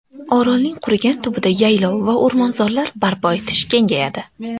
Orolning qurigan tubida yaylov va o‘rmonzorlar barpo etish kengayadi.